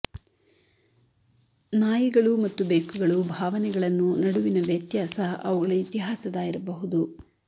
ನಾಯಿಗಳು ಮತ್ತು ಬೆಕ್ಕುಗಳು ಭಾವನೆಗಳನ್ನು ನಡುವಿನ ವ್ಯತ್ಯಾಸ ಅವುಗಳ ಇತಿಹಾಸದ ಇರಬಹುದು